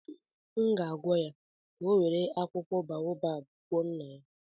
Aga m agwa ya ka ọ were akwụkwọ boabab gwọọ nna ya